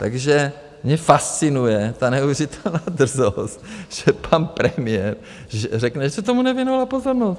Takže mě fascinuje ta neuvěřitelná drzost, že pan premiér řekne, že se tomu nevěnovala pozornost.